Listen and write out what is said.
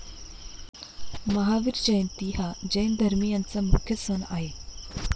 महावीर जयंती हा जैन धर्मियांचा मुख्य सण आहे.